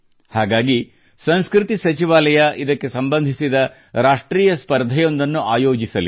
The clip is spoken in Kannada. ಹಾಗಾಗಿ ಸಂಸ್ಕೃತಿ ಸಚಿವಾಲಯ ಇದಕ್ಕೆ ಸಂಬಂಧಿಸಿದ ರಾಷ್ಟ್ರೀಯ ಸ್ಪರ್ಧೆಯೊಂದನ್ನು ಆಯೋಜಿಸಲಿದೆ